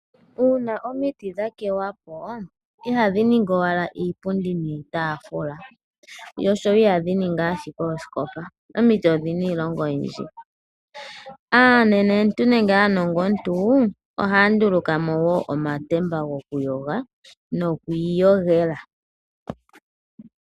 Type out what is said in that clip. Uuna omiti dha tetwa po ihadhi ningi owala iipundi niitafula dho ishewe ihadhi ningi owala oosikopa, omiti odhina iilonga oyindji. Aanenentu nenge aanongontu, ohaya nduluka mo woo omatemba go ku yoga noku iyogela.